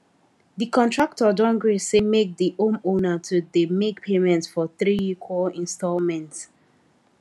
the contractor don gree say make the homeowner to dey make payments for three equal installments